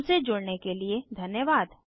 हमसे जुड़ने के लिए धन्यवाद